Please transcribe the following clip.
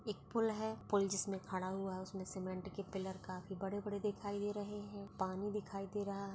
एक पुल है पुल जिसमे खड़ा हुआ है उसमे सीमेंट के पिलर काफी बड़े बड़े दिखाई दे रहे है पानी दिखाई दे रहा है।